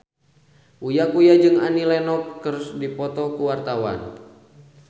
Uya Kuya jeung Annie Lenox keur dipoto ku wartawan